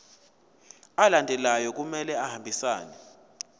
alandelayo kumele ahambisane